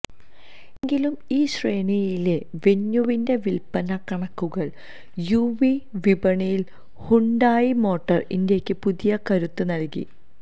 എങ്കിലും ഈ ശ്രേണിയിലെ വെന്യുവിന്റെ വിൽപ്പന കണക്കുകൾ യുവി വിപണിയിൽ ഹ്യുണ്ടായി മോട്ടോർ ഇന്ത്യയ്ക്ക് പുതിയ കരുത്ത് നൽകി